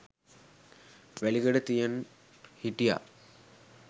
වැලිකඩ තියන් හිටියා